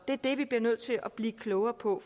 det er det vi bliver nødt til at blive klogere på